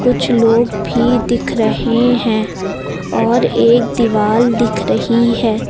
कुछ लोग भी दिख रहे हैं और एक दीवाल दिख रही है।